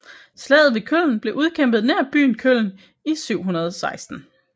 Slaget ved Köln blev udkæmpet nær byen Köln i år 716